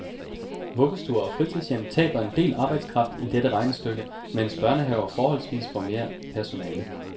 Vuggestuer og fritidshjem taber en del arbejdskraft i dette regnestykke, mens børnehaverne forholdsvist får mere personale.